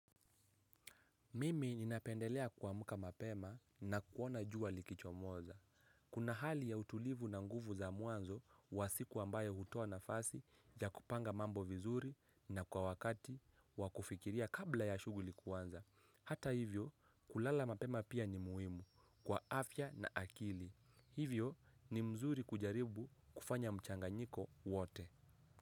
Mimi ninapendelea kuamka mapema na kuona jua likichomoza. Kuna hali ya utulivu na nguvu za mwanzo wa siku ambayo hutoa nafasi ya kupanga mambo vizuri na kwa wakati wa kufikiria kabla ya shughuli kuanza. Hata hivyo kulala mapema pia ni muhimu kwa afya na akili. Hivyo ni mzuri kujaribu kufanya mchanganyiko wote.